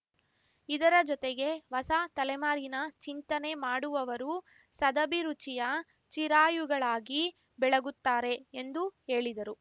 ಇದರ ಜೊತೆಗೆ ಹೊಸ ತಲೆಮಾರಿನ ಚಿಂತನೆ ಮಾಡುವವರು ಸದಭಿರುಚಿಯ ಚಿರಾಯುಗಳಾಗಿ ಬೆಳಗುತ್ತಾರೆ ಎಂದು ಹೇಳಿದರು